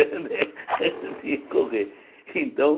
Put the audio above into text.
né eu tinha que correr.